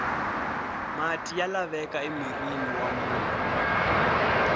mati ya laveka emirhini wa munhu